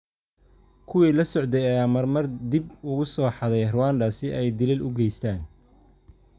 Kuwii la socday ayaa mar mar dib ugu soo xaday Rwanda si ay dilal u geystaan.